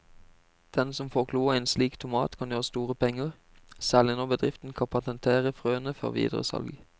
Den som får kloa i en slik tomat kan gjøre store penger, særlig når bedriften kan patentere frøene før videre salg.